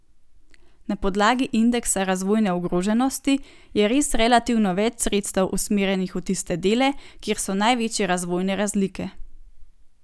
Na podlagi indeksa razvojne ogroženosti je res relativno več sredstev usmerjenih v tiste dele, kjer so največje razvojne razlike.